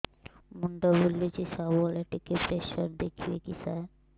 ମୁଣ୍ଡ ବୁଲୁଚି ସବୁବେଳେ ଟିକେ ପ୍ରେସର ଦେଖିବେ କି ସାର